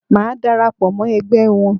Màá dara pọ̀ mọ́ ẹgbẹ́ wọn.